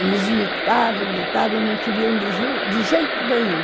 Eles lutaram, lutaram, não queriam de jeito nenhum.